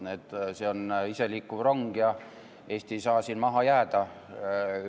See on iseliikuv rong ja Eesti ei saa siin maha jääda.